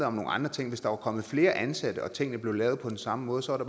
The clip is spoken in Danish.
om nogle andre ting hvis der var kommet flere ansatte og tingene blev lavet på den samme måde så var